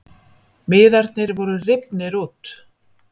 Miðarnir voru rifnir út